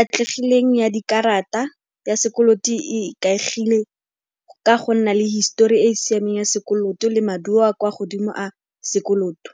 Atlegileng ya dikarata ya sekoloto e ikaegile ka go nna le histori e e siameng ya sekoloto le maduo a kwa godimo a sekoloto.